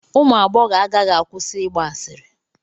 Ụmụ agbọghọ agaghị akwụsị ịgba asịrị.